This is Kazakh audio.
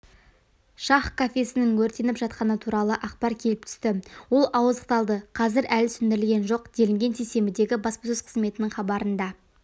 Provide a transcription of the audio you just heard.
шах кафеесінің өртеніп жатқаны туралы ақпар келіп түсті ол ауыздықталды қазір әлі сөндірілген жоқ делінген сейсенбідегі баспасөз қызметінің хабарында